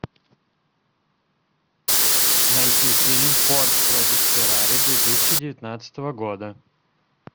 найти фильм форд против феррари две тысячи девятнадцатого года